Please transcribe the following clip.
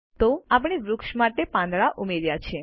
તો આપણે વૃક્ષ માટે પાંદડા ઉમેર્યા છે